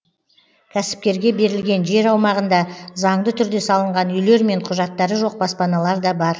кәсіпкерге берілген жер аумағында заңды түрде салынған үйлер мен құжаттары жоқ баспаналар да бар